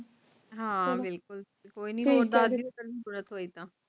ਹਾਂ ਬਿਲਕੁਲ ਕੋਈ ਨੀ ਕਦੇ ਜਰੂਰਤ ਹੋਈ ਤਾਂ